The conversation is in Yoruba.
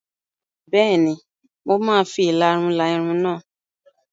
Bẹ́ẹ̀ni, mo máa fi ìlarun la irun náà.